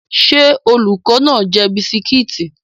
Ṣé olùkọ́ náà ń jẹ bisikíìtì?